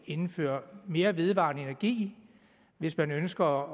indføre mere vedvarende energi hvis man ønsker